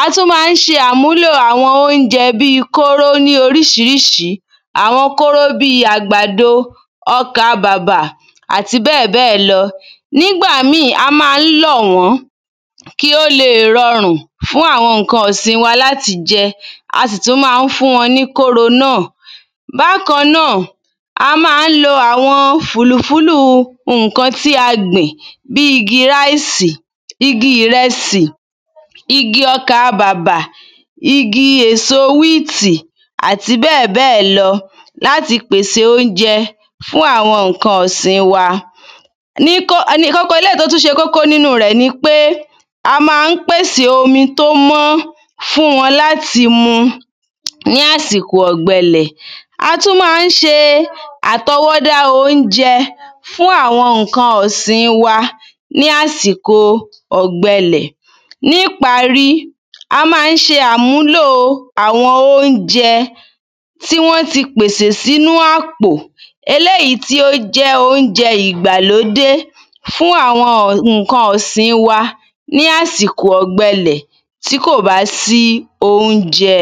A tún ma ń s̩e àmúlò àwo̩n oúnje̩ bí kóró ní orís̩irís̩i. Àwo̩n kóró bi àgbàdo, ó̩ká bàbà, àti bé̩è̩bé̩è̩ lo̩. Nígbà mì a má n lò̩ wó̩n kí ó leè rorùn fún àwo̩n ǹkan ìsin wa láti je̩. A sì tún ma ń fún wo̩n ní kóro nà. Bákanà, a má n lo àwo̩n fùlù-fúlù ǹkan tí a gbìn bí igi ráísì, igi ìre̩sì, igi o̩kà bàbà, igi èso wítì, àti bé̩è̩bé̩è̩ lo̩, láti pèse óúnje̩ fún àwo̩n ǹkan ìsin wa. um Eléyì tó tún s̩e kókó nínu rè̩ nipé a má n pèsè omi tó mó̩ fún wo̩n láti mu ní àsìko ò̩gbe̩lè̩. A tún ma ń s̩e àto̩wó̩dá oúnje̩ fún àwo̩n ǹkan ìsin wa ní àsìko ò̩gbe̩lè̩. Ní ìparí, a má n s̩e àmúlò àwo̩n óúnje̩ tí wó̩n ti pèsè sínú àpò, eléyì tí ó jé̩ óúnje̩ ìgbà ló dé fún àwo̩n ǹkan ìsin wa ní àsìko ò̩gbe̩lè̩ tí kò ba sí óúnje̩.